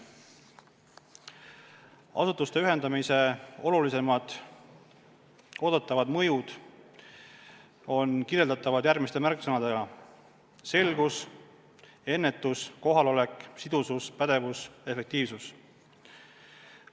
Asutuste ühendamise olulisimad oodatavad mõjud on kirjeldatavad järgmiste märksõnadega: selgus, ennetus, kohalolek, sidusus, pädevus, efektiivsus.